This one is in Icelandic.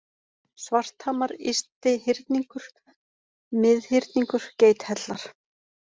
Svarthamar, Ysti-Hyrningur, Mið-Hyrningur, Geithellar